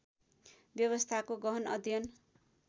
व्यवस्थाको गहन अध्ययन